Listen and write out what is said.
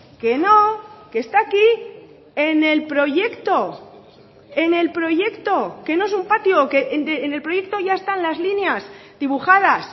que no que está aquí en el proyecto en el proyecto que no es un patio en el proyecto ya están las líneas dibujadas